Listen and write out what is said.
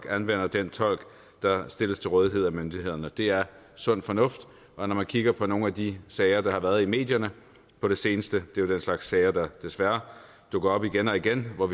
anvender den tolk der stilles til rådighed af myndighederne det er sund fornuft når man kigger på nogle af de sager der har været i medierne på det seneste er der en slags sager der desværre dukker op igen og igen for